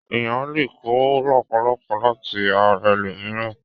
Èèyàn lè kó làpálàpá láti ra ẹlòmíràn.